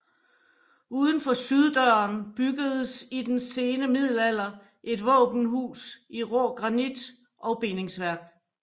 Udfor syddøren byggedes i den sene middelalder et våbenhus i rå granit og bindingsværk